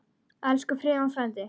Elsku Friðjón frændi.